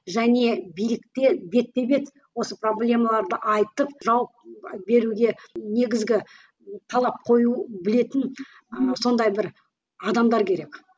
және билікке бетпе бет осы проблемаларды айтып жауап беруге негізгі талап қою білетін ы сондай бір адамдар керек